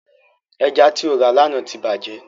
Ẹja ti o rà lána ti bàjẹ́.